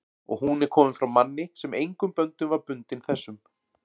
og hún er komin frá manni, sem engum böndum var bundinn þessum